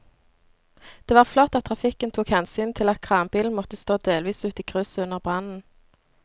Det var flott at trafikken tok hensyn til at kranbilen måtte stå delvis ute i krysset under brannen.